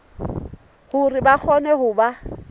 hore ba kgone ho ba